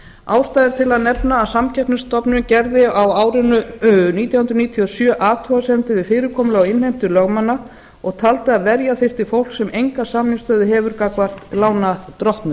ástæða er til að nefna að samkeppnisstofnun gerði á árinu nítján hundruð níutíu og sjö athugasemdir við fyrirkomulag og innheimtu lögmanna og taldi að verja þyrfti fólk sem enga samningsstöðu hefur gagnvart lánardrottnum